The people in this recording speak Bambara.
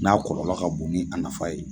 N'a kɔlɔlɔ ka bon ni a nafa ye.